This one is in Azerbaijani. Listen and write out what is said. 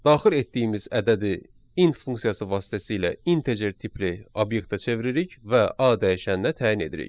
Daxil etdiyimiz ədədi int funksiyası vasitəsilə integer tipli obyektə çeviririk və A dəyişəninə təyin edirik.